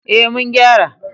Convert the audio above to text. Ee, mun gyara.